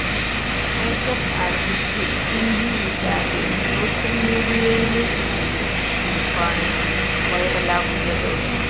makeup artist Pinky Vishal social മീഡിയയില് പങ്കുവെച്ച കുറിപ്പാണ് വൈറലാകുന്നത്